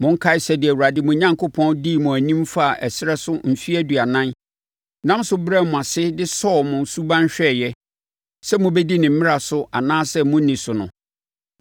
Monkae sɛdeɛ Awurade mo Onyankopɔn dii mo anim faa ɛserɛ so mfeɛ aduanan, nam so brɛɛ mo ase de sɔɔ mo suban hwɛeɛ sɛ mobɛdi ne mmara so anaasɛ morenni so no.